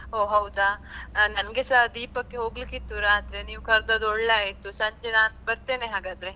ಹೊ ಹೌದಾ, ನಂಗೆಸ ದೀಪಕ್ಕೆ ಹೋಗ್ಲಿಕ್ಕೆ ಇತ್ತು ರಾತ್ರಿ, ನೀವ್ ಕರ್ದದ್ ಒಳ್ಳೆ ಆಯ್ತು ಸಂಜೆ ನಾನ್ ಬರ್ತೇನೆ ಹಾಗಾದ್ರೆ.